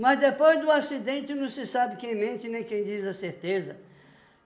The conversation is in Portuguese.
Mas depois do acidente não se sabe quem mente nem quem diz a certeza.